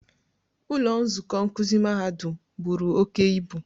Ụlọ nzukọ nkuzi mahadum buru oke ibu